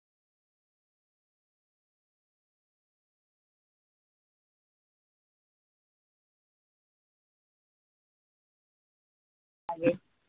आले